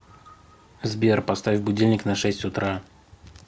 сбер поставь будильник на шесть утра